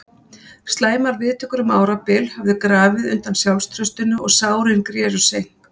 Slæmar viðtökur um árabil höfðu grafið undan sjálfstraustinu og sárin greru seint.